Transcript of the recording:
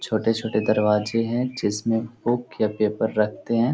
छोटे छोटे दरवाजे हैं जिसमे बुक या पेपर रखते हैं ।